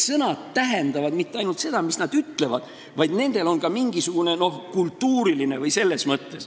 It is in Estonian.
Sõnad ei tähenda mitte ainult seda, mida nad ütlevad, vaid nendel on ka mingisugune kultuuriline mõte.